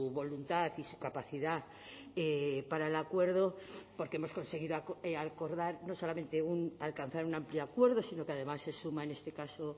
voluntad y su capacidad para el acuerdo porque hemos conseguido acordar no solamente un alcanzar un amplio acuerdo sino que además se suma en este caso